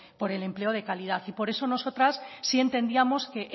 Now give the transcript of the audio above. por el empleo de calidad por eso nosotras sí entendíamos que